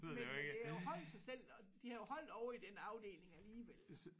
Men det har jo holdt sig selv og de har jo holdt ovre i den afdeling alligevel